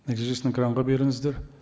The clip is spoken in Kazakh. нәтижесін экранға беріңіздер